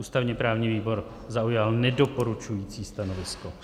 Ústavně-právní výbor zaujal nedoporučující stanovisko.